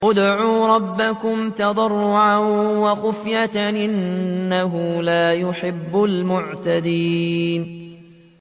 ادْعُوا رَبَّكُمْ تَضَرُّعًا وَخُفْيَةً ۚ إِنَّهُ لَا يُحِبُّ الْمُعْتَدِينَ